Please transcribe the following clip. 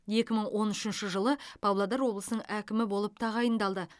екі мың он үшінші жылы павлодар облысының әкімі болып тағайындалды